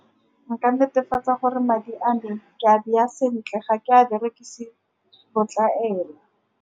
Nka netefatsa gore madi a me ke a bea sentle, ga ke a berekise botlamela.